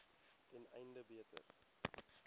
ten einde beter